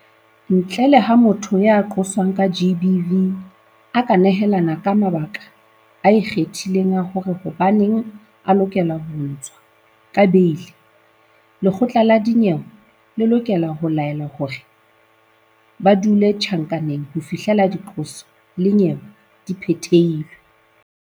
Ntle le ha motho ya qoswang ka GBV a ka nehelana ka mabaka a ikgethileng a hore hobaneng a lokela ho ntshwa ka beili, lekgotla la dinyewe le lokela ho laela hore ba dule tjhankaneng ho fihlela diqoso le nyewe e phethelwa.